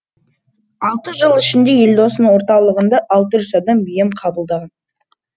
алты жыл ішінде елдостың орталығында алты жүзадам ем қабылдаған